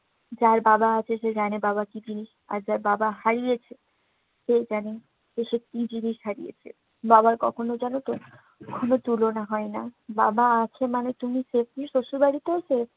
যার বাবা আছে সে জানে বাবা কি জিনিস, আর যার বাবা হারিয়েছে। সেই জানে সে যে কি জিনিস হারিয়েছে। বাবার কখনো এ জগতের কোনো তুলনা হয় না। বাবা আছে মানে তুমি savely শ্বশুরবাড়িতেও save